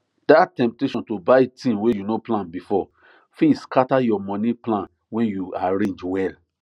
that temptation to buy thing wey you no plan before fit scatter your money plan wey you arrange well